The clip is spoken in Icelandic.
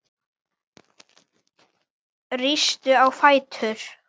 Rístu á fætur